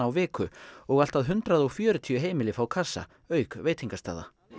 viku og allt að hundrað og fjörutíu heimili fá kassa auk veitingastaða